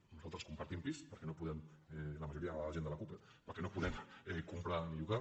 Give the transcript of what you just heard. nosaltres compartim pis la majoria de gent de la cup perquè no podem comprar ni llogar